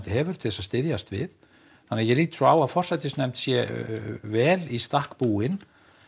hefur til þess að styðjast við þannig að ég lít svo á að forsætisnefnd sé vel í stakk búin